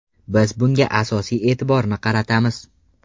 Biz bunga asosiy e’tiborni qaratamiz.